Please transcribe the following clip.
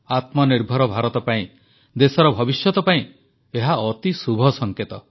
ଆତ୍ମନିର୍ଭର ଭାରତ ପାଇଁ ଦେଶର ଭବିଷ୍ୟତ ପାଇଁ ଏହା ଅତି ଶୁଭ ସଙ୍କେତ